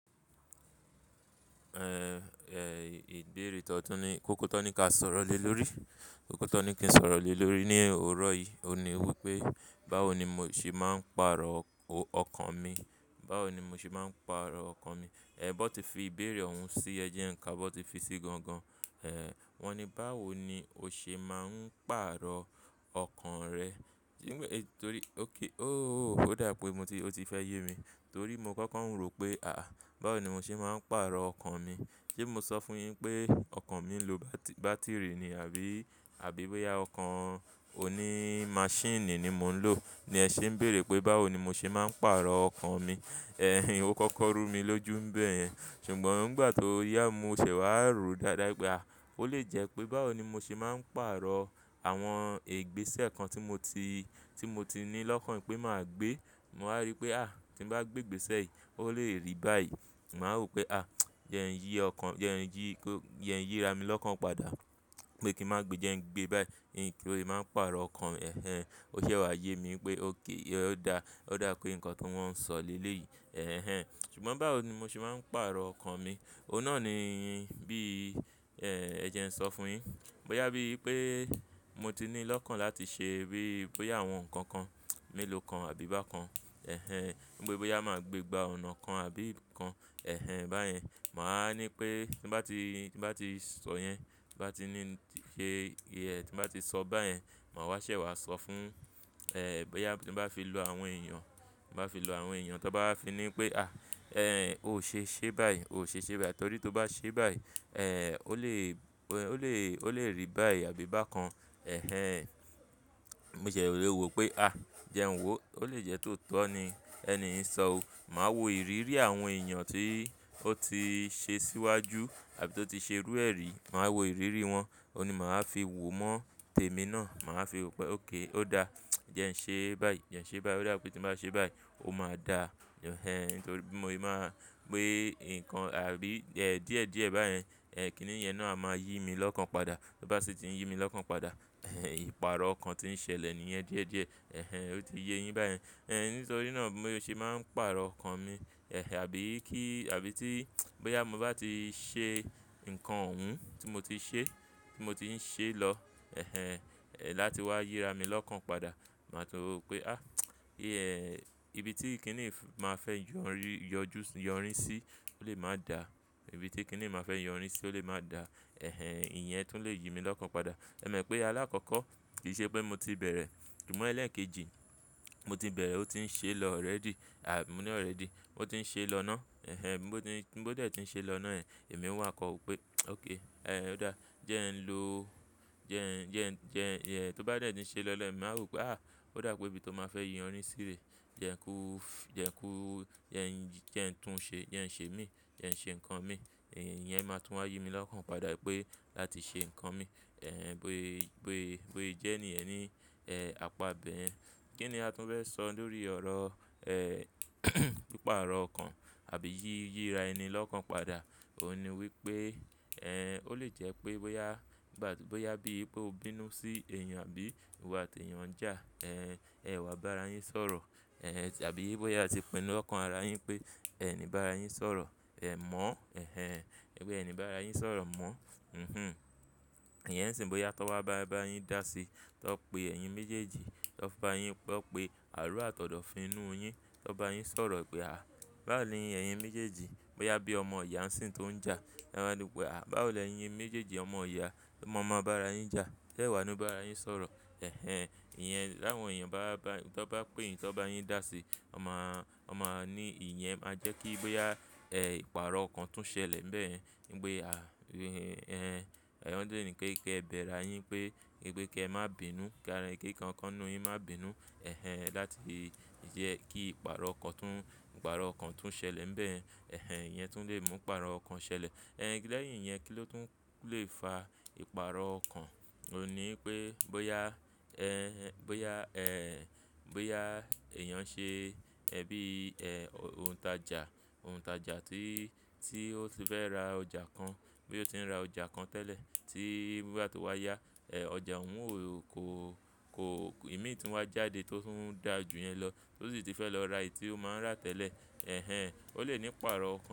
Ehn, eh, ìbéèrè tó ní, kó kó tó ní ká sọ̀rọ̀ lé lórí. Kó kó tó ní kí n sọ̀rọ̀ lé lórí ní òrò yìí, òun ni wí pé, "báwo ni mo ṣe máa ń pàrọ̀ ọkàn mi? Báwo ni mo ṣe máa ń pàrọ̀ ọkàn mi?" Ehn, bọ́ ti fi ìbéèrè òun sí ẹ jẹ́ ńká, bọ́ ti fi sí gangan. Ehn, wọ́n ni, "báwo ni o ṣe máa ń pàrọ̀ ọkàn rẹ?" Nígbẹ̀ tó rí, ó kí, "Óóó, ó dà pé mo ti, ó ti fẹ́ yé mi." Torí mo kókó ń rò pé, àáh, báwo ni mo ṣe máa ń pàrọ̀ ọkàn mi? Sé mo sọ fún yin pé ọkàn mi ń lo bátìrì ni àbí, àbí bóyá ọkàn oní máṣínìì ni mò ń lò ni ẹ ṣé ń bèèrè pé báwo ni mo ṣe máa ń pàrọ̀ ọkàn mi. Ehen, ó kókó rú mi lójú bẹ́ẹ̀ yẹn. Ṣùgbọ́n nígbà tó yá mo ṣẹ̀ wá rò dáadáa pé à, ó lè jẹ́ pé báwo ni mo ṣe máa ń pàrọ̀ àwọn ìgbésẹ̀ kan tí mo ti, tí mo ti ní lọ́kàn pé màá gbé. Mo ha rí pé à, tí bàá gbé ìgbésẹ̀ yìí, ó lè rí báyìí. Màá rò pé à, jẹ́ ẹ ń yí ọkàn, jẹ́ ẹ ń yí, jẹ́ ẹ ń yí ra mi lọ́kàn padà pé kí màá gbé, jẹ́ ẹ ń gbé báyìí. Kí ó lè máa pàrọ̀ ọkàn. Ehen, ó ṣẹ̀ wá yé mi pé óké, ó da, ó dà pé nǹkan tó wọ́n ń sọ lé lé yìí. Ehen. Ṣùgbọ́n báwo ni mo ṣe máa ń pàrọ̀ ọkàn mi? Ó náà ni bí, ehn, ẹ jẹ́ ń sọ fún yin. Bóyá bí i pé mo ti ní lọ́kàn láti ṣe bí i bóyá àwọn nǹkan kan mélòó kan àbí bá kan. Ehen. Bóyá máa gbé gba ọ̀nà kan àbí kan. Ehen, báyẹn. Mà á ní pé tí bá ti, tí bá ti sọ yẹn, tí bá ti ní ṣe iye tí bá ti sọ báyẹn, màá wá ṣẹ̀ wá sọ fún, ehn, bóyá tí bá fi lo àwọn èèyàn, tí bá fi lo àwọn èèyàn tí wọ́n bá fi ní pé à, ehn, o ṣe ṣe báyìí, o ṣe ṣe báyìí. Torí tí o bá ṣe báyìí, ehn, ó lè, ó lè, ó lè rí báyìí àbí bá kan. Ehen. Mo ṣì lè wò pé à, jẹ́ n wò, ó lè jẹ́ tó tọ́ ni ẹni ìṣọ́ o. Màá wo ìrírí àwọn èèyàn tí ó ti ṣe síwájú àbí tó ti ṣe rú ẹrí, màá wo ìrírí wọn, òun ni màá fi wò mọ́ tèmi náà. Màá fi wò pé óké, ó da. Jẹ́ ẹ ń ṣe báyìí, jẹ́ ẹ ń ṣe báyìí. Ó dà pé tí bàá ṣe báyìí, ó máa da. Ehen, torí mo lè máa gbé nǹkan àbí díẹ̀ díẹ̀ báyẹn, ehn, kí nìyẹn náà máa yí mi lọ́kàn padà. Tó bá sì ti ń yí mi lọ́kàn padà, ehn, ìpààrọ̀ ọkàn tí ń ṣẹlẹ̀ nìyẹn díẹ̀ díẹ̀. Ehen, ó ti yé yin báyẹn. Ehn, nítorí náà mo ṣe máa ń pàrọ̀ ọkàn mi. Ehen, àbí kí, àbí tí bóyá mo bá ti ṣe nǹkan òun tí mo ti ṣe, tí mo ti ń ṣe lọ. Ehen, láti wá yíra mi lọ́kàn padà. Màá túu pé à, iye, ibi tí kí nìí máa fẹ́ yọ̀nrín, yọjú, yọ̀nrín sí ó lè máa da. Ibi tí kí nìí máa fẹ́ yọ̀nrín sí ó lè máa da. Ehen, ìyẹn tún lè yí mi lọ́kàn padà. Ẹ mọ̀ pé alákọ̀ọ́kọ́ kì í ṣe pé mo ti bẹ̀rẹ̀. Ṣùgbọ́n ẹlẹ́ẹ̀kejì, mo ti bẹ̀rẹ̀, ó ti ń ṣe lọ already. À, mo ní already. Ó ti ń ṣe lọ ná. Ehen, bó dé tí ń ṣe lọ ná ẹ, èmi ń wà kọ ò pé óké, ehn, ó da. Jẹ́ ẹ ń lo, jẹ́ ẹ ń, jẹ́ ẹ ń, jẹ́ ẹ, tó bá dẹ̀ tí ń ṣe lọ lẹ́ẹ̀, màá rò pé à, ó dà pé ibi tó máa fẹ́ yí ọ̀nrín sí rè, jẹ́ ku ó, jẹ́ ku ó, jẹ́ ẹ ń tún ṣe, jẹ́ ẹ ń ṣe mí, jẹ́ ẹ ń ṣe nǹkan mi. Ìyẹn máa tún wá yí mi lọ́kàn padà pé láti ṣe nǹkan mi. Ehn, bóyé, bóyé, bóyé jẹ́ ní ẹ̀ ní, ehn, àpá bẹ̀rẹ̀. Kí ni a tún fẹ́ sọ lórí ọ̀rọ̀, ehn, ìpààrọ̀ ọkàn àbí yí, yíra ẹni lọ́kàn padà? Ó ní wí pé, ehn, ó lè jẹ́ pé bóyá nígbà tí, bóyá bí i pé o bínú sí èèyàn àbí ìwọ àti èèyàn ń jà. Ehn, ẹ wá bá ara yin sọ̀rọ̀. Ehn, àbí bóyá tí pinnu lọ́kàn ara yin pé ẹ̀ ni bá ara yin sọ̀rọ̀. Ẹ mọ̀. Ehen, ẹgbẹ́ ẹni bá ara yin sọ̀rọ̀ mọ̀. Hihun. Ìyẹn sì n bóyá tó bá bá ara yin dá sí, tó pe ẹyin méjèèjì, tó bá yin, pé ó pe àárọ̀ àtọ̀dọ́ fi inú yin, tó bá yin sọ̀rọ̀ pé à, báwoni ẹyin méjèèjì, bóyá bí i ọmọ ìyá ń sìn tó ń jà. Ẹ máa ni pé à, báwoni ẹyin méjèèjì ọmọ ìyá, ọmọ ọmọ bá ara yin jà. Ẹ wà á nú bá ara yin sọ̀rọ̀. Ehen, ìyẹn láwọn èèyàn bá, bá, tó bá péyìn, tó bá yin dá sí, ọmọ a, ọmọ a ní ìyẹn máa jẹ́ kí bóyá, ehn, ìpààrọ̀ ọkàn tún ṣẹlẹ̀ bẹ́ẹ̀ yẹn. Nígbẹ̀ à, ehn, ẹ̀ n dún ì ní pé kí ẹ bẹ́ ara yin pé, pé kí ẹ má bínú, kí ara ẹnikẹ́ni kan nínú yin má bínú. Ehen, láti jẹ́ kí ìpààrọ̀ ọkàn tún, ìpààrọ̀ ọkàn tún ṣẹlẹ̀ bẹ́ẹ̀ yẹn. Ehen, ìyẹn tún lè mú ìpààrọ̀ ọkàn ṣẹlẹ̀. Ehn, lẹ́yìn ìyẹn kí ló tún lè fa ìpààrọ̀ ọkàn? Ó ní pé bóyá, ehn, bóyá, ehn, bóyá èèyàn ṣe, ẹbí, ehn, òǹtajà, òǹtajà tí, tí ó ti fẹ́ ra ọjà kan, bóyá ó ti ń ra ọjà kan tẹ́lẹ̀ tí nígbà tó wá yá, ehn, ọjà òun ò kó, kó, ìmí tí wá jáde tó tún dà jù yẹn lọ tó sì ti fẹ́ lọ ra èyí tí ó máa ń rà tẹ́lẹ̀. Ehen, ó lè ní ìpààrọ̀ ọkàn.